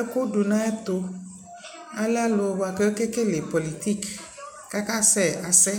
ɛku du na yɛ tuAlɛ alʋ kakɛ kɛlɛ pɔlitikKaka sɛ asɛ